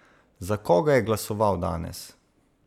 Za koga je glasoval danes?